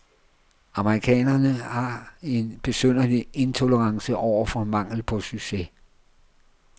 Amerikanerne har en besynderlig intolerance over for mangel på succes.